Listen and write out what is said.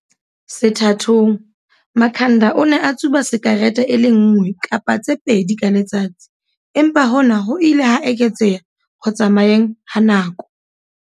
Sethathong, Makhanda o ne a tsuba sikarete e le nngwe kapa tse pedi ka letsatsi, empa hona ho ile ha eketseha ho tsamayeng ha nako.